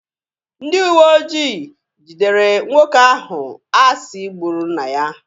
Ndị uweojii gidere nwoke ahụ a si gburu nna ya.